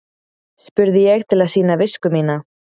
spurði ég til að sýna visku mína.